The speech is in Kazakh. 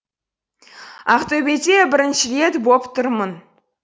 ақтөбеде бірінші рет боп тұрмын